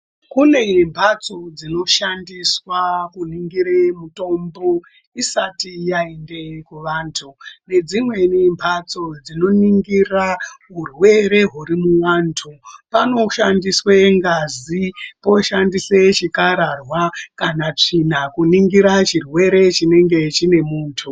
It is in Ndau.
Kune mbatso dzinoshandiswa kuningire mitombo isati yainde kuvantu. Nedzimweni mbatso dzinoningira urwere huri muvantu. Panoshandiswe ngazi, poshandise chikararwa kana tsvina kuningira chirwere chinenge chine muntu.